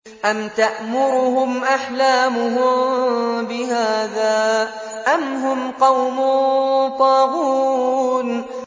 أَمْ تَأْمُرُهُمْ أَحْلَامُهُم بِهَٰذَا ۚ أَمْ هُمْ قَوْمٌ طَاغُونَ